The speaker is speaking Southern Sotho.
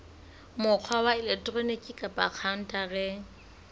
mokgwa wa elektroniki kapa khaontareng